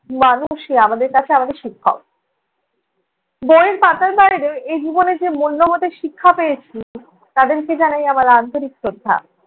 মানুষই আমাদের কাছে আমাদের শিক্ষক। বইয়ের পাতার বাইরেও এ জীবনে যে মূল্যোবোধের শিক্ষা পেয়েছি। তাদেরকে জানাই আমার আন্তরিক শ্রদ্ধা।